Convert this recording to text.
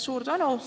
Suur tänu!